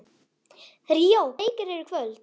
Ríó, hvaða leikir eru í kvöld?